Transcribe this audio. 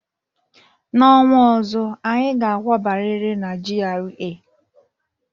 N'ọnwa ọzọ, anyị ga akwabariri n'GRA!